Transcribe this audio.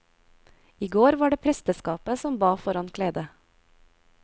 I går var det presteskapet som ba foran kledet.